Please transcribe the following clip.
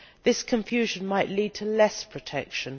This confusion might lead to less protection.